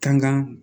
Kanga